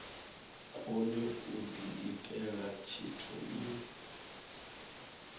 kone u diitela tshithu i